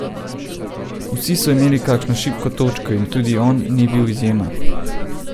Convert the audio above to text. Vsi so imeli kakšno šibko točko in tudi on ni bil izjema.